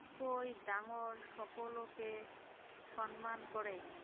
কৈ ডাঙৰ সকলোকে সন্মান কৰে